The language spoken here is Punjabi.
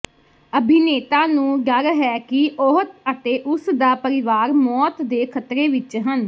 ਅਭਿਨੇਤਾ ਨੂੰ ਡਰ ਹੈ ਕਿ ਉਹ ਅਤੇ ਉਸ ਦਾ ਪਰਿਵਾਰ ਮੌਤ ਦੇ ਖ਼ਤਰੇ ਵਿਚ ਹਨ